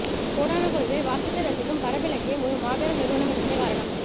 கோடானுகோடி பேர் வாசித்து ரசிக்கும் பரப்பிலக்கியம் ஒரு மாபெரும் நிறுவனம் என்பதே காரணம்